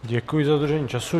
Děkuji za dodržení času.